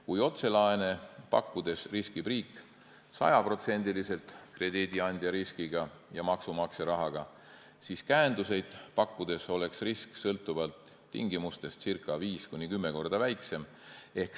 Kui otselaene pakkudes riskib riik 100% krediidiandja riskiga ja maksumaksja rahaga, siis käenduseid pakkudes oleks risk sõltuvalt tingimustest 5–10 korda väiksem.